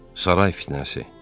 Saray fitnəsi.